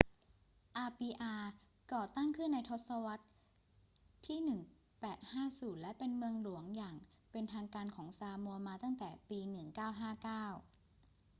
อาปีอาก่อตั้งขึ้นในทศรรษที่ 1850 และเป็นเมืองหลวงอย่างเป็นทางการของซามัวมาตั้งแต่ปี 1959